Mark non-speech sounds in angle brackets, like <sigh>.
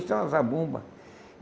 <unintelligible> a Zabumba!